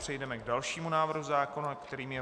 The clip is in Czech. Přejdeme k dalšímu návrhu zákona, kterým je